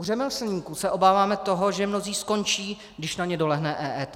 U řemeslníků se obáváme toho, že mnozí skončí, když na ně dolehne EET.